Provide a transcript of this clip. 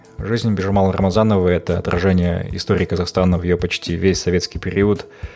жизнь бижамал рамазановой это отражение история қазахстана ее почти весь советский период